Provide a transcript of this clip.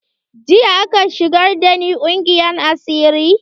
Jiya aka shigar da ni ƙungiyar asiri.